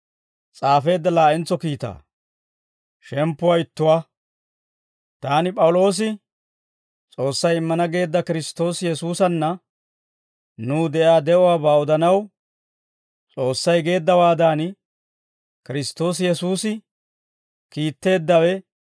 Taani P'awuloosi, S'oossay immana geedda Kiristtoosi Yesuusanna nuw de'iyaa de'uwaabaa odanaw, S'oossay geeddawaadan, Kiristtoosi Yesuusi kiitteeddawe,